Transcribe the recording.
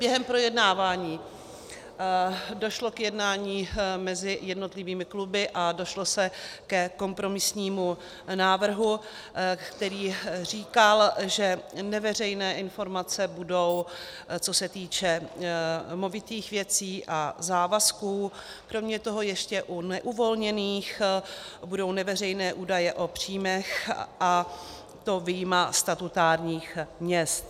Během projednávání došlo k jednání mezi jednotlivými kluby a došlo se ke kompromisnímu návrhu, který říkal, že neveřejné informace budou, co se týče movitých věcí a závazků, kromě toho ještě u neuvolněných budou neveřejné údaje o příjmech, a to vyjma statutárních měst.